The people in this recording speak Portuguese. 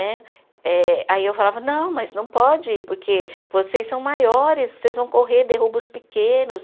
Né eh. Aí eu falava, não, mas não pode, porque vocês são maiores, vocês vão correr, derrubam os pequenos.